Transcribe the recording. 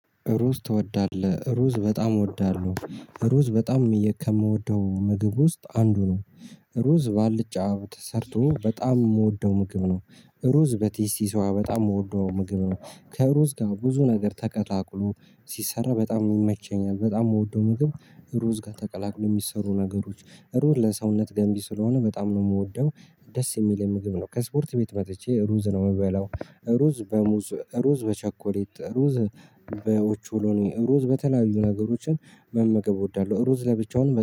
ሩዝ ትወዳለህ ሩዝ በጣም እወዳለሁ ሩዝ በጣም ከምወደው ምግብ ውስጥ አንዱ ነው። ሩዝ ባልጫ ተሰርቶ በጣም የምወደው ምግብ ነው። ሩዝ በቴስቲ ሶያ በጣም የምወደው ምግብ ነው። ከሩዝ ጋር ብዙ ነገር ተቀላቅሎ ሲሰራ በጣም ይመቸኛል በጣም የምወደው ምግብ። ሩዝ ጋር ተቀላቅሎ የሚሰሩ ነገሮች ሩዝ ለሰውነት ገንቢ ስለሆነ በጣም ነው የምወደው። ደስ የሚለኝ ምግብ ነው ከስፖርት ቤት መጥቼ ሩዝ ነው የምበላው። ሩዝ በሙዝ ሩዝ በቸኮሌት ሩዝ በኦቾሎኒ ሩዝ በተለያዩ ነገሮችን መመገብ እወዳለሁ ሩዝ ለብቻውን